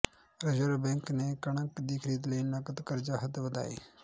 reserve Bank ਨੇ ਕਣਕ ਦੀ ਖ਼ਰੀਦ ਲਈ ਨਕਦ ਕਰਜ਼ਾ ਹੱਦ ਵਧਾਈ